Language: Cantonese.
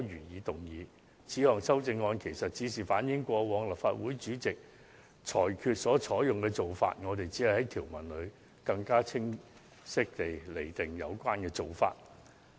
我們提出的這項修訂，是反映過往立法會主席所作裁決的實例，我們只是在條文中更清晰指出有關做法而已。